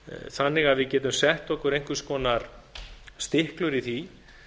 þannig að við getum sett okkur einhvers konar stiklur í því